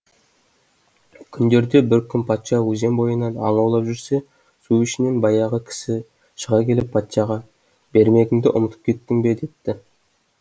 күндерде бір күн патша өзен бойынан аң аулап жүрсе су ішінен баяғы кісі шыға келіп патшаға бермегіңді ұмытып кеттің бе депті